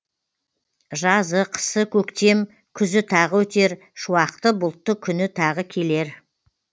жазы қысы көктем күзі тағы өтер шуақты бұлтты күні тағы келер